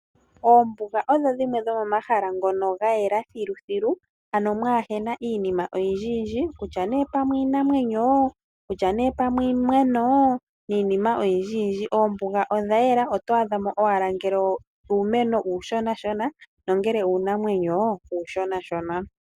Oombuga odho dhimwe dho momahala ngono gayela thiluthilu ano mwaahena iinima oyindji yindji kutya ne pamwe iinamwenyo, kutya ne pamwe iimeno niinima oyindji yindji. Oombuga odha yela oto adhamo owala ngele uumeno uushona shona, nangele uunamwenyo uushona shona.